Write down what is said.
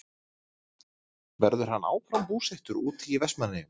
Verður hann áfram búsettur úti í Vestmannaeyjum?